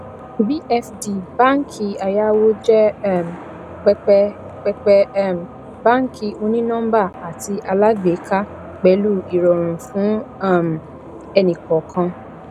vfd báàǹkì ayáwó jẹ um pẹpẹ pẹpẹ um báàǹkì ònínọmbà àti alágbèéká pẹlu ìrọrùn fún um ẹnìkọọkan